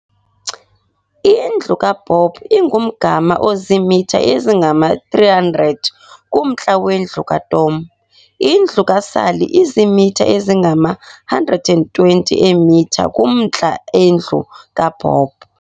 Indlu kaBob ingumgama oziimitha ezingama- 300 kumntla wendlu kaTom. indlu kaSally izimitha ezingama-120 eemitha kumantla endlu kaBob.